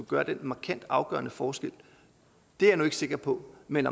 gøre en markant afgørende forskel er jeg ikke sikker på men